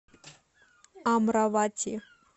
амравати